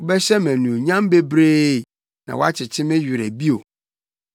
Wobɛhyɛ me anuonyam bebree na woakyekye me werɛ bio.